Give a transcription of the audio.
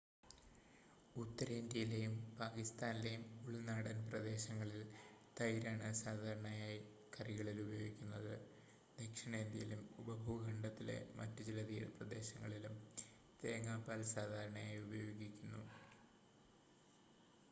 ഉത്തരേന്ത്യയിലെയും പാകിസ്താനിലെയും ഉൾനാടൻ പ്രദേശങ്ങളിൽ തൈരാണ് സാധാരണയായി കറികളിൽ ഉപയോഗിക്കുന്നത് ദക്ഷിണേന്ത്യയിലും ഉപഭൂഖണ്ഡത്തിലെ മറ്റ് ചില തീരപ്രദേശങ്ങളിലും തേങ്ങാപ്പാൽ സാധാരണയായി ഉപയോഗിക്കുന്നു